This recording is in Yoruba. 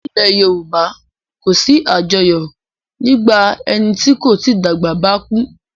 Nílẹ̀ Yorùbá kì í sí àjọyọ̀ nígbà ẹni tí kò tí dàgbà bá kú.